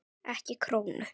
Ekki krónu!